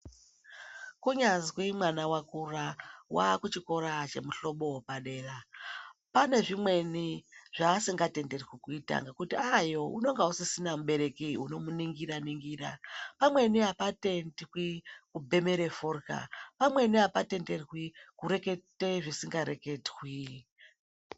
Kunyazwi mwana wakura waakuchikora chemuhlobo wopadera. Pane zvimweni zvaasingatenderwi kuita nekuti aayo unonga usisina mubereki unomuningira-ningira. Pamweni hapatendwi kubhemere fodrya, pamweni hapatenderwi kureketa zvisikareketwi.